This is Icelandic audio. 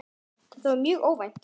Þetta var mjög óvænt.